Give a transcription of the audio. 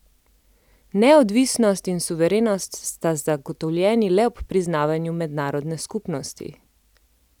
Neodvisnost in suverenost sta zagotovljeni le ob priznavanju mednarodne skupnosti.